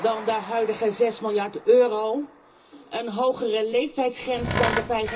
dan de huidige zes miljard euro, een hogere leeftijdsgrens dan